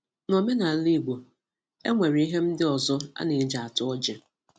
N'omenala Igbo, e nwere ihe ndị ọzọ a na-eji ata ọjị